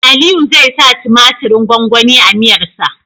Aliyu zai sa tumatirin gwangwani a miyar sa